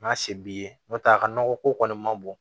N'a se b'i ye n'o tɛ a ka nɔgɔ ko kɔni ma bon